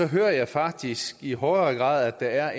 hører jeg faktisk i højere grad at der er